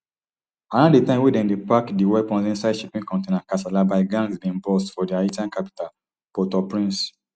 around di time wey dem dey pack di weapons inside shipping container kasala by gangs bin burst for di haitian capital portauprince